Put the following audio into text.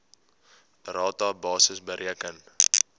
rata basis bereken